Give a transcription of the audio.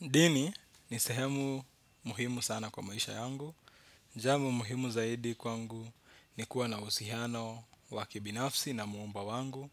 Dini ni sehemu muhimu sana kwa maisha yangu. Jambo muhimu zaidi kwangu ni kuwa na uhusiano wa kibinafsi na Muumba wangu.